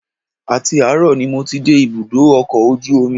Àti àárọ̀ ni mo ti dé ibùdó ọkọ̀ ojú omi